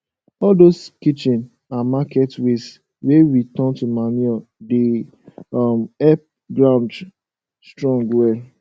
all dose kitchen and market waste wey we turn to manure dey um help ground strong well